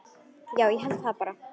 Já, ég held það bara.